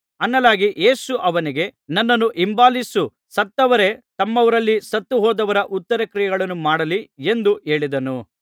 ಯೇಸು ಅವನಿಗೆ ನನ್ನನ್ನು ಹಿಂಬಾಲಿಸು ಸತ್ತವರೇ ತಮ್ಮವರಲ್ಲಿ ಸತ್ತುಹೋದವರ ಉತ್ತರಕ್ರಿಯೆಗಳನ್ನು ಮಾಡಲಿ ಎಂದು ಹೇಳಿದನು